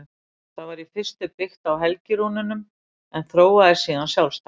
Það var í fyrstu byggt á helgirúnunum en þróaðist síðan sjálfstætt.